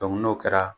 n'o kɛra